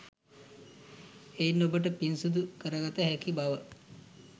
එයින් ඔබට පින් සිදු කරගත හැකි බව